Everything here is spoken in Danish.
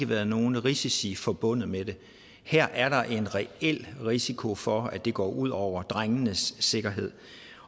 været nogen risici forbundet med det her er der en reel risiko for at det går ud over drengenes sikkerhed